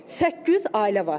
Səkkiz yüz ailə var.